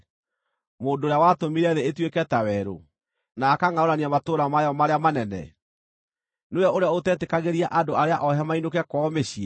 mũndũ ũrĩa watũmire thĩ ĩtuĩke ta werũ, na akangʼaũrania matũũra mayo marĩa manene? Nĩwe ũrĩa ũtetĩkagĩria andũ arĩa oohe mainũke kwao mĩciĩ?”